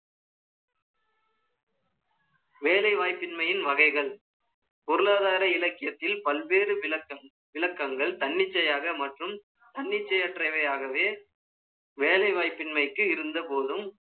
வேலைவாய்ப்பின்மையின் வகைகள். பொருளாதார இலக்கியத்தில், பல்வேறு விளக்கம் ஒன்று இலக்கங்கள் தன்னிச்சையாக மற்றும் தன்னிச்சையற்றவையாகவே வேலை வாய்ப்பின்மைக்கு இருந்த போதும்